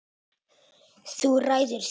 Þú ræður því.